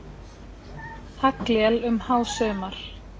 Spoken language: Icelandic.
Haglél um hásumar.